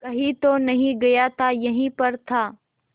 कहीं तो नहीं गया था यहीं पर था